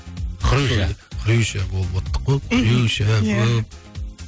хрюша хрюша болывоттық қой мхм иә хрюша болып